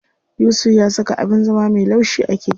Yusuf ya saka abin zama me laushi a keken sa.